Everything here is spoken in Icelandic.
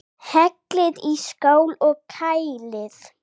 Hellið í skál og kælið.